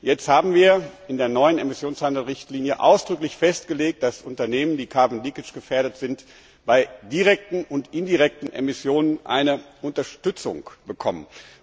Jetzt haben wir in der neuen Emissionshandelsrichtlinie ausdrücklich festgelegt, dass Unternehmen, die gefährdet sind, bei direkten und indirekten Emissionen eine Unterstützung bekommen.